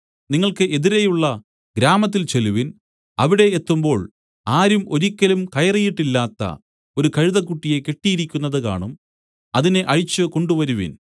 നിങ്ങൾക്ക് എതിരെയുള്ള ഗ്രാമത്തിൽ ചെല്ലുവിൻ അവിടെ എത്തുമ്പോൾ ആരും ഒരിക്കലും കയറിയിട്ടില്ലാത്ത ഒരു കഴുതക്കുട്ടിയെ കെട്ടിയിരിക്കുന്നത് കാണും അതിനെ അഴിച്ച് കൊണ്ടുവരുവിൻ